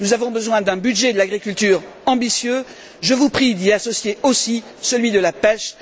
Nous avons besoin d'un budget de l'agriculture ambitieux, je vous prie d'y associer aussi celui de la pêche.